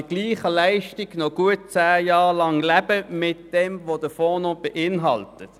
Man kann bei gleicher Leistung noch gut zehn Jahre von den Geldern leben, die der Fonds noch beinhaltet.